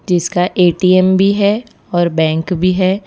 जिसका ए_टी_एम भी है और बैंक भी है।